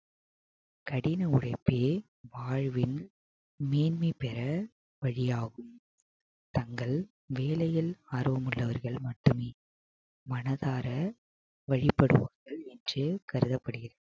கடின உழைப்பே வாழ்வில் மேன்மை பெற வழியாகும் தங்கள் வேலையில் ஆர்வம் உள்ளவர்கள் மட்டுமே மனதார வழிபடுவார்கள் என்று கருதப்படுகிறது